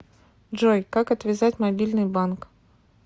джой как отвязать мобильный банк